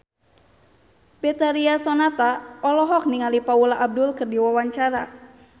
Betharia Sonata olohok ningali Paula Abdul keur diwawancara